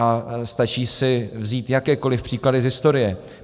A stačí si vzít jakékoliv příklady z historie.